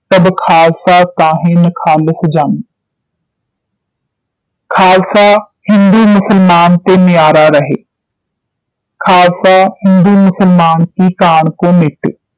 ਤਬ ਖਾਲਸਾ ਤਾਂਹਿ ਨਖਾਲਸ ਜਾਨੈ ਖਾਲਸਾ ਹਿੰਦੂ ਮੁਸਲਮਾਨ ਤੇ ਨਿਆਰਾ ਰਹੇ ਖਾਲਸਾ ਹਿੰਦੂ ਮੁਸਲਮਾਨ ਕੀ ਕਾਣ ਕੇ ਮੇਟੇ